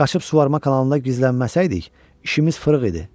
Qaçıb suvarma kanalında gizlənməsəydik, işimiz fırıq idi.